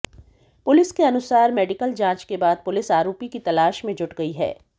police के अनुसार medical जांच के बाद पुलिस आरोपी की तलाश में जुट गई है